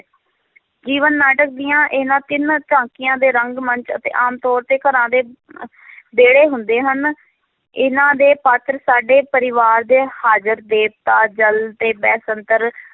ਜੀਵਨ-ਨਾਟਕ ਦੀਆਂ ਇਹਨਾਂ ਤਿੰਨ ਝਾਕੀਆਂ ਦੇ ਰੰਗ ਮੰਚ ਅਤੇ ਆਮ ਤੌਰ ਤੇ ਘਰਾਂ ਦੇ ਵਿਹੜੇ ਹੁੰਦੇ ਹਨ, ਇਹਨਾਂ ਦੇ ਪਾਤਰ ਸਾਡੇ ਪਰਿਵਾਰ ਦੇ ਹਾਜ਼ਰ ਦੇਵਤਾ ਜਲ ਤੇ ਬੈਸੰਤਰ